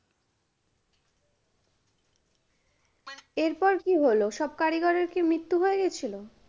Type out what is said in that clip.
এরপর কি হলো, সব কারিগরের কি মৃত্যু হয়ে গেছিলো?